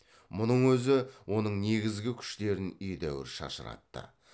мұның өзі оның негізгі күштерін едәуір шашыратты